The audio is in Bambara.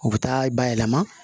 U bɛ taa bayɛlɛma